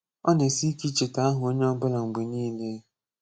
O na esi ike icheta aha onye obula mgbe niile